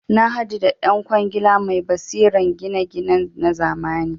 Nahadu da dan kwangila mai basiran gina ginan nazamani